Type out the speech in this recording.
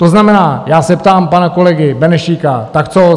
To znamená, já se ptám pana kolegy Benešíka, tak co?